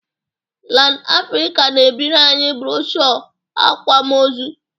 Lan Afrịka na-ebiri anyị broshu akwamozu